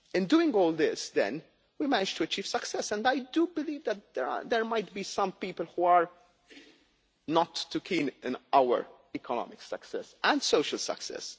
them. In doing all this, then, we managed to achieve success, and I do believe that there might be some people who are not too keen on our economic success and social success.